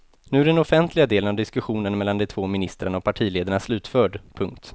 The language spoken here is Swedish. Nu är den offentliga delen av diskussionen mellan de två ministrarna och partiledarna slutförd. punkt